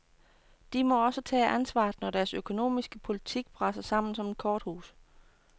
De må også tage ansvaret, når deres økonomiske politik braser sammen som et korthus.